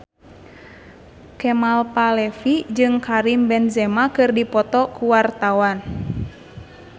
Kemal Palevi jeung Karim Benzema keur dipoto ku wartawan